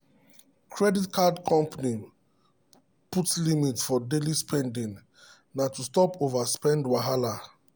credit card company put limit for daily spending na to stop overspend wahala.